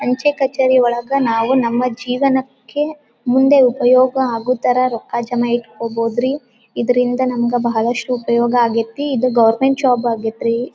ಅಂಚೆ ಕಛೇರಿ ಒಳಗ ನಾವು ನಮ್ಮ ಜೀವನಕ್ಕೆ ಮುಂದೆ ಉಪಯೋಗ ಅಗೋ ಥರ ರೊಕ್ಕ ಜಮ ಇಟ್ಕೋಬೋದ್ರಿ ಇದರಿಂದ ನಮ್ಗ ಬಹಳಷ್ಟು ಉಪಯೋಗ ಅಗೈತಿ ಇದು ಗೌರ್ಮೆಂಟ್ ಜಾಬ್ ಆಗೈತ್ರಿ.